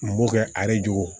N b'o kɛ ale jogo